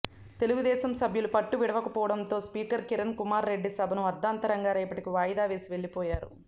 తెలుగుదేశం సభ్యులు పట్టు వీడకపోవడంతో స్పీకర్ కిరణ్ కుమార్ రెడ్డి సభను అర్థాంతరంగా రేపటికి వాయిదా వేసి వెళ్లిపోయారు